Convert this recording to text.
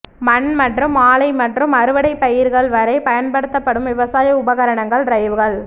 மண் மற்றும் ஆலை மற்றும் அறுவடை பயிர்கள் வரை பயன்படுத்தப்படும் விவசாய உபகரணங்கள் டிரைவ்கள்